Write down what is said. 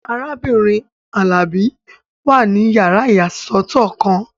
Arábìnrin Alabi wà ní yàrá ìyàsọ́tọ̀ kan